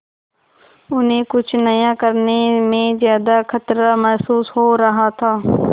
उन्हें कुछ नया करने में ज्यादा खतरा महसूस हो रहा था